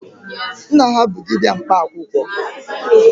Nna ha bụ dibịa mkpa akwụkwọ.